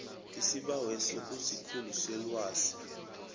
isibaweso kusikhulu selwazi